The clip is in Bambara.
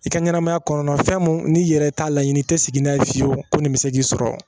I ka ɲɛnɛmaya kɔnɔna fɛn mun n'i yɛrɛ t'a laɲini i tɛ sigi n'a ye fiyewu ko nin bɛ se k'i sɔrɔ